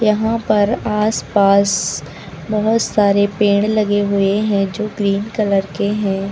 यहां पर आसपास बहुत सारे पेड़ लगे हुए हैं जो ग्रीन कलर के हैं।